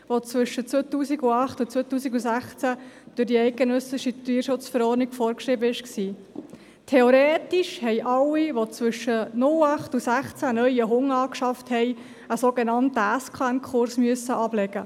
Theoretisch haben alle, die zwischen 2008 und 2016 einen neuen Hund angeschafft haben, einen Kurs mit einem sogenannten Sachkundenachweis (SKN-Kurs) machen müssen.